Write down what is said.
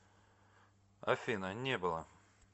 афина не было